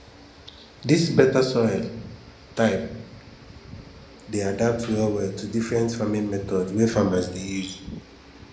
dis better soil um type dey adapt well well to different farming methods wey farmers dey use